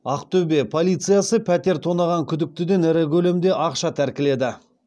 ақтөбе полициясы пәтер тонаған күдіктіден ірі көлемде ақша тәркіледі